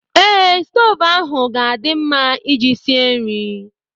Ee, stoovu ahụ ga-adị mma Ị ji sie nri